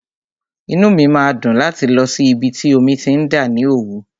Inú mi máa dùn láti lọ sí ibi tí omi ti ń dà ní Òwú.